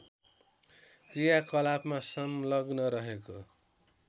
क्रियाकलापमा संलग्न रहेको